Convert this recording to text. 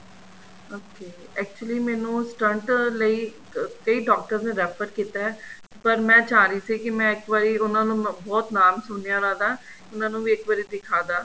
okay actually ਮੈਂਨੂੰ stunt ਲਈ ਕਈ ਡਾਕਟਰ ਨੇ refer ਕੀਤਾ ਪਰ ਮੈਂ ਚਾਹ ਰਹੀ ਸੀ ਕੀ ਮੈਂ ਇੱਕ ਵਾਰੀ ਉਹਨਾ ਨੂੰ ਬਹੁਤ ਨਾਮ ਸੁਣਿਆ ਉਹਨਾ ਦਾ ਉਹਨਾ ਨੂੰ ਵੀ ਇੱਕ ਵਾਰੀ ਦਿਖਾਦਾ